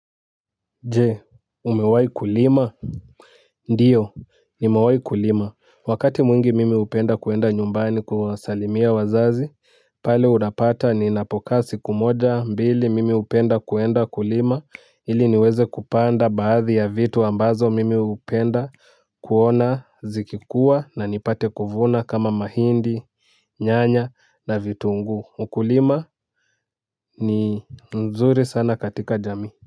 Je umewai kulima ndiyo nimewai kulima wakati mwingi mimi hupenda kuenda nyumbani kuwasalimia wazazi pale unapata ni napoka siku moja mbili mimi hupenda kuenda kulima ili niweze kupanda baadhi ya vitu ambazo mimi hupenda kuona zikikua na nipate kuvuna kama mahindi nyanya na vitunguu ukulima ni nzuri sana katika jami. Kwa hivyo.